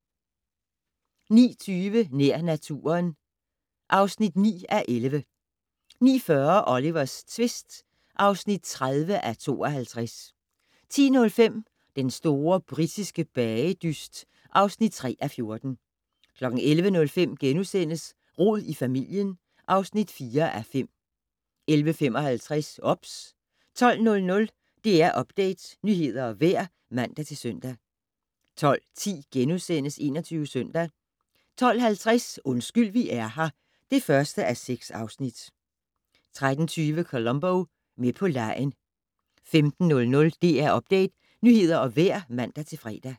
09:20: Nær naturen (9:11) 09:40: Olivers tvist (30:52) 10:05: Den store britiske bagedyst (3:14) 11:05: Rod i familien (4:5)* 11:55: OBS 12:00: DR Update - nyheder og vejr (man-søn) 12:10: 21 Søndag * 12:50: Undskyld vi er her (1:6) 13:20: Columbo: Med på legen 15:00: DR Update - nyheder og vejr (man-fre)